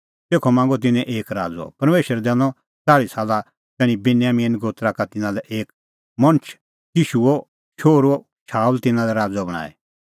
तेखअ मांगअ तिन्नैं एक राज़अ परमेशरै दैनअ च़ाल़्ही साला तैणीं बिन्यामीने गोत्रा का तिन्नां लै एक मणछ किशूओ शोहरू शाऊल तिन्नां लै राज़अ बणांईं